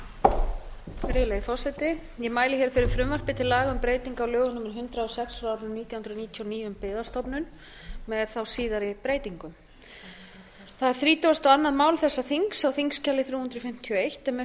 á lögum númer hundrað og sex nítján hundruð níutíu og níu um byggðastofnun með síðari breytingum það er þrítugasta og önnur mál þessa þings á þingskjali þrjú hundruð fimmtíu og eitt en með